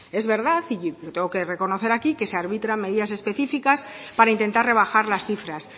es verdad y lo tengo que reconocer aquí que se arbitran medidas específicas para intentar rebajar las cifras